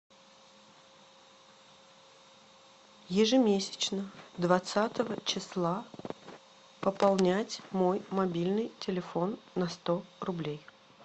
ежемесячно двадцатого числа пополнять мой мобильный телефон на сто рублей